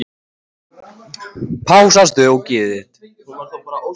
Alína, ferð þú með okkur á sunnudaginn?